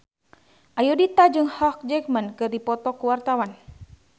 Ayudhita jeung Hugh Jackman keur dipoto ku wartawan